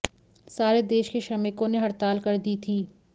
सारे देश के श्रमिकों ने हड़ताल कर दी थी